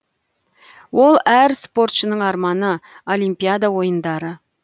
ол әр спортшының арманы олимпиада ойындары